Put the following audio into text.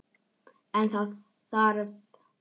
En það er þarft.